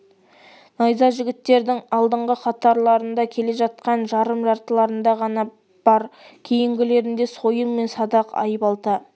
найза жігіттердің алдыңғы қатарларда келе жатқан жарым жартыларында ғана бар кейінгілерінде сойыл мен садақ айбалта